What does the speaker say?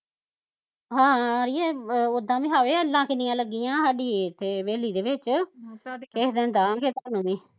ਹਾਂ ਅੜੀਏ ਓਦਾ ਵੀ ਹਾਏ ਅੱਲਾ ਕਿੰਨਿਆ ਲੱਗੀਆਂ ਸਾਡੀ ਏਥੇ ਹਵੇਲੀ ਦੇ ਵਿੱਚ ਕਿਸੇ ਦਿਨ ਦਾਆਗੇ ਤੁਹਾਨੂੰ ਵੀ